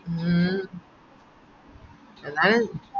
മ്മ് എന്നാലും